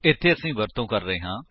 ਇੱਥੇ ਅਸੀ ਵਰਤੋ ਕਰ ਰਹੇ ਹਾਂ